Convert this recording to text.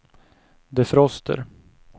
defroster